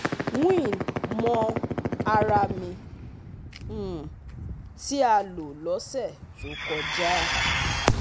WEAN mọ ara mi um tí a lò lọ́sẹ̀ tó kọjá